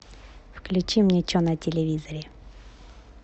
включи мне че на телевизоре